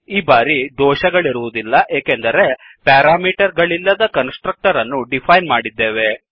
ಈ ಬಾರಿ ದೋಷಗಳಿರುವುದಿಲ್ಲ ಏಕೆಂದರೆ ನಾವು ಪ್ಯಾರಾಮೀಟರ್ ಗಳಿಲ್ಲದ ಕನ್ಸ್ ಟ್ರಕ್ಟರ್ ಅನ್ನು ಡಿಫೈನ್ ಮಾಡಿದ್ದೇವೆ